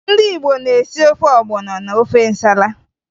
Ndị Igbo na-esi ofe ọgbọnọ na ofe nsala